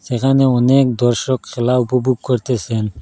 এখানে অনেক দর্শক খেলা উপভোগ করতেসেন।